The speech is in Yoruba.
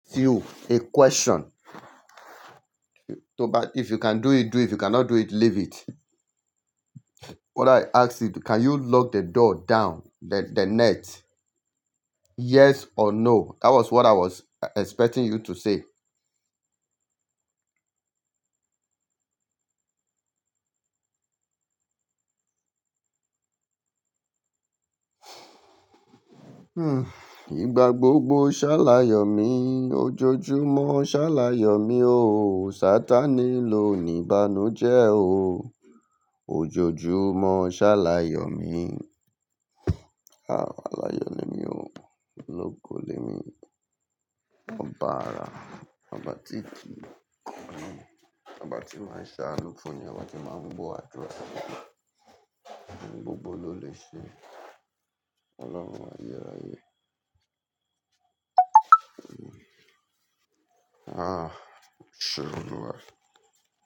You a question. To ba-- if you can do it, do it. If you cannot do it, leave it. What I ask is, can you lock the door down? The, the net? Yes or no? That was what i was expecting you to say. Mnn igba gbogbo sa layo mi ojoojúmọ́ ṣá láyọ̀ mi o. Satan ni lò ní bánu jẹ́ o. Ojoojúmọ́ ṣá láyọ̀ mi. Ah, aláyọ̀ ni mí o. Ológo lemí. Oba ara. Oba titi. Oba tí máa ń ṣa anú fún yàn. Oba tí máa ń gbọ́ àdúrà. Gbogbo ló lè ṣe. Ọlọ́run àyé ráyé. Ah, ṣurù lówa.